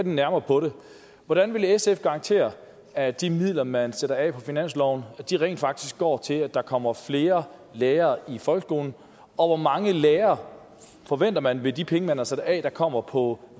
nærmere på det hvordan vil sf garantere at de midler man sætter af på finansloven rent faktisk går til at der kommer flere lærere i folkeskolen og hvor mange flere lærere forventer man med de penge man har sat af at der kommer på